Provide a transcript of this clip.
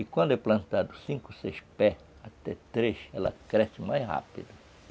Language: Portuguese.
E quando é plantado cinco, seis pés, até três, ela cresce mais rápido.